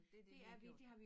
Det dét vi har gjort